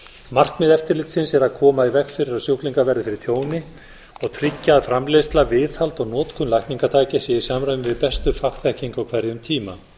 markmið eftirlitsins er að koma í veg fyrir að sjúklingar verði fyrir tjóni og tryggja að framleiðsla viðhald og notkun lækningatækja sé í samræmi við bestu fagþekkingu á hverjum tíma